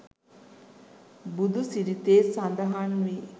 බුදුසිරිතේ සඳහන් වේ.